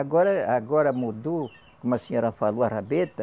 Agora eh, agora mudou, como a senhora falou, a rabeta.